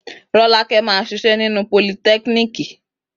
Rọ́lákẹ́ máa ṣiṣẹ́ nínú politẹ́kiniki